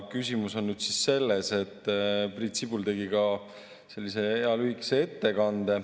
Küsimus on selles, et Priit Sibul tegi ka sellise hea lühikese ettekande.